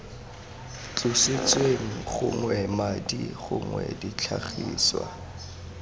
tlositsweng gognwe madi gongwe ditlhagiswa